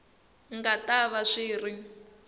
nga ta va swi ri